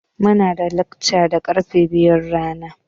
Muna da lekca da karfe biyun rana.